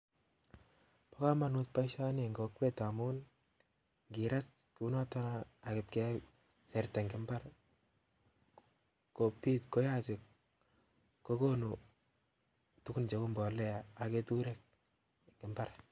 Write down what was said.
Bo komonut boishoni eng kokwet ngamun ngerat kounoton ak kotiach sarit eng imbar kokonu tuguun cheu mbolea ak ketureek eng imbaar